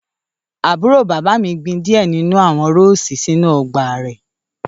Àbúrò bàbá mi gbin diẹ ninu awọn Roses sinu ọgba rẹ